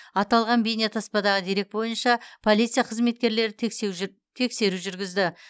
аталған бейнетаспадағы дерек бойынша полиция қызметкерлері тексеру жүргізді